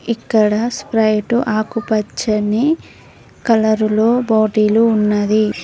ఇక్కడ స్ప్రైటు ఆకుపచ్చని కలరులో బాటీలు ఉన్నది.